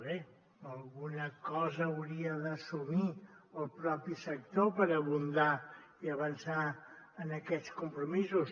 bé alguna cosa hauria d’assumir el propi sector per abundar i avançar en aquests compromisos